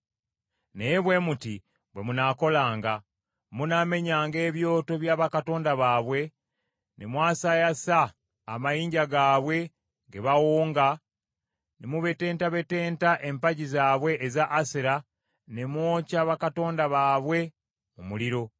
Naye bwe muti bwe munaakolanga: Munaamenyanga ebyoto bya bakatonda baabwe, ne mwasaayasa amayinja gaabwe ge bawonga, ne mubetentabetenta empagi zaabwe eza Asera, ne mwokya bakatonda baabwe mu muliro.